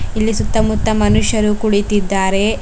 ಇಲ್ಲಿ ಸುತ್ತ ಮುತ್ತ ಮನುಷ್ಯರು ಕುಳಿತಿದ್ದಾರೆ.